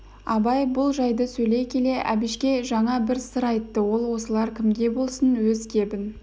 абай бұл жайды сөйлей келе әбішке жаңа бір сыр айтты ал осылар кімге болсын өз кебін